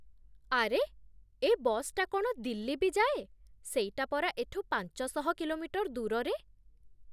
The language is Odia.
ଆରେ! ଏ ବସ୍‌ଟା କ'ଣ ଦିଲ୍ଲୀ ବି ଯାଏ? ସେଇଟା ପରା ଏଠୁ ପାଞ୍ଚଶହ କିଲୋମିଟର୍ ଦୂରରେ?